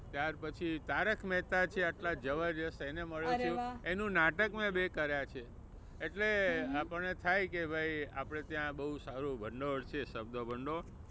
ત્યાર પછી તારક મેહતા છે આટલા જબરદસ્ત એને મળ્યો છુ, એનું નાટક મેં બે કર્યા છે એટલે આપણને થાય કે ભાઈ આપણે ત્યાં બહુ સારું ભંડોળ શબ્દ ભંડોળ.